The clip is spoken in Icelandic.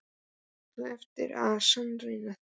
Þú átt eftir að sannreyna það.